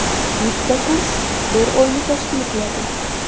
Bitta kurs bir oyni tashkil qiladi.